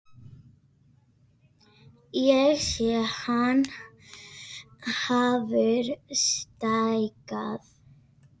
Ég sé að hann hefur stækkað.